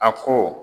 A ko